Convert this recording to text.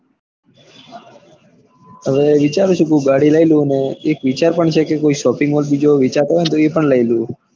હવે વિચારું છું કોક ગાડી લઇ લઉં અને એક વિચાર છે કે shopping mall વેચાતો હોય તો લઇ લઉં.